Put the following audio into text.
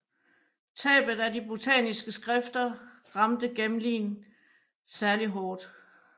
Tabet af de botaniske skrifter ramte Gmelin særlig hård